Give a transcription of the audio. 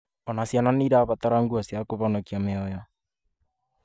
Ona ciana nĩ irabatara nguo cia kũhonokia mĩoyo